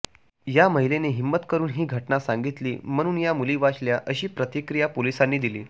या महिलेने हिंमत करून ही घटना सांगितली म्हणून या मुली वाचल्या अशी प्रतिक्रिया पोलिसांनी दिली